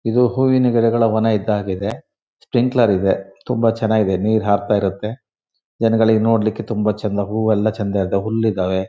ಇದು ಹೂವಿನ ಗಿಡಗಳ ವನ ಇದ್ದಹಾಗೆ ಇದೆ. ಸ್ಪ್ರಿಂಗ್ಕ್ಲೇರ್ ಇದೆ ತುಂಬ ಚೆನ್ನಾಗಿದೆ. ನೀರ್ ಹಾರ್ತಾ ಇರುತ್ತೆ ಜನಗಳಿಗೆ ನೋಡ್ಲಿಕ್ಕೆ ತುಂಬಾ ಚಂದ ಹೂವು ಎಲ್ಲ ಚಂದ ಇದ್ದಾವೆ ಹುಲ್ಲು ಇದ್ದಾವೆ.